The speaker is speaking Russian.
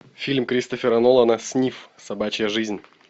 фильм кристофера нолана снифф собачья жизнь